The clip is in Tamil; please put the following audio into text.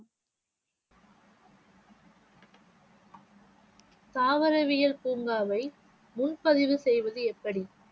தாவரவியல் பூங்காவை முன்பதிவு செய்வது எப்படி?